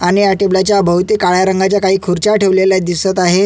आणि या टेबलाच्या भवती काळ्या रंगाच्या काही खुर्च्या ठेवेलेल्या दिसत आहे.